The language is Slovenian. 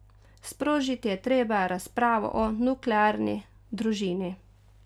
Sprožiti je treba razpravo o nuklearni družini.